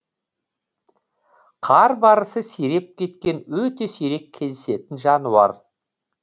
қар барысы сиреп кеткен өте сирек кездесетін жануар